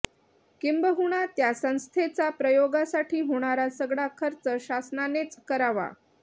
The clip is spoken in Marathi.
किंबहुना त्या संस्थेचा प्रयोगासाठी होणारा सगळा खर्च शासनानेच करावा